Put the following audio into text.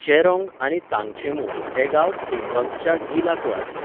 चेरोंग आनी तांगछेंमू हे गांव थेंबंगच्या गीला कुळांतले.